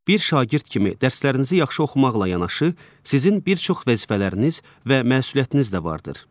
Bir şagird kimi dərslərinizi yaxşı oxumaqla yanaşı, sizin bir çox vəzifələriniz və məsuliyyətiniz də vardır.